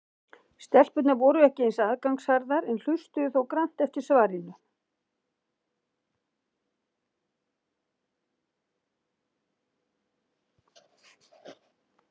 Stelpurnar voru ekki eins aðgangsharðar en hlustuðu þó grannt eftir svarinu.